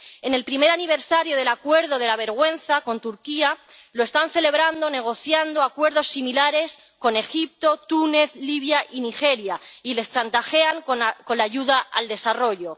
En el primer aniversario del acuerdo de la vergüenza con Turquía, lo están celebrando negociando acuerdos similares con Egipto, Túnez, Libia y Nigeria, y les chantajean con la con la ayuda al desarrollo.